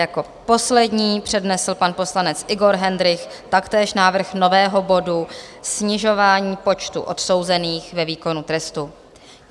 Jako poslední přednesl pan poslanec Igor Hendrych taktéž návrh nového bodu, Snižování počtu odsouzených ve výkonu trestu.